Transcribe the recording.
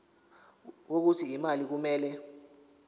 wokuthi imali kumele